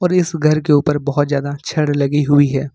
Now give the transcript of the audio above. इस घर के ऊपर बहोत ज्यादा छड़ लगी हुई है।